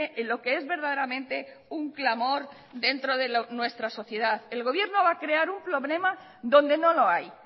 en lo que es verdaderamente un clamor dentro del nuestra sociedad el gobierno va a crear un problema donde no lo hay